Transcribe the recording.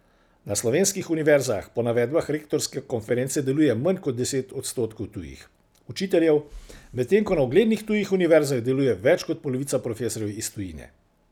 Na slovenskih univerzah po navedbah rektorske konference deluje manj kot deset odstotkov tujih učiteljev, medtem ko na uglednih tujih univerzah deluje več kot polovica profesorjev iz tujine.